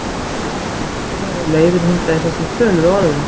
Já og þeir gætu verið á leiðinni hingað í þessum töluðu orðum